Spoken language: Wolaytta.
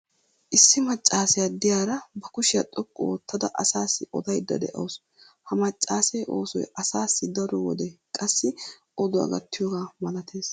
issi maccaassiya diyaara ba kushiya xoqqu oottada asaassi odaydda de'awusu. ha maccaassee oosoy asaassi daro wode qassi oduwaa gattiyoogaa malatees.